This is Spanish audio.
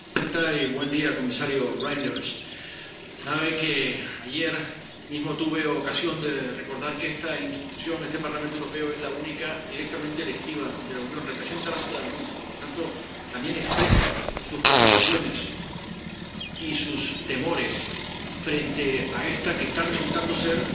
Señora presidenta, comisario Reynders, sabe que ayer mismo tuve ocasión de recordar que esta institución —este Parlamento Europeo— es la única directamente electiva de la Unión representa a la ciudadanía y, por lo tanto, también expresa sus preocupaciones y sus temores frente a la que está resultando ser